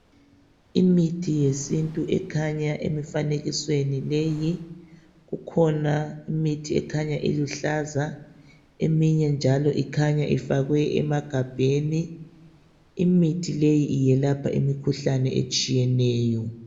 Imithi yesintu ekhanya emifakenisweni leyi. Kukhona imithi ekhanya iluhlaza, eminye njalo ikhanya ifakwe emagabheni. Imithi leyi iyelapha imikhuhlane etshiyeneyo.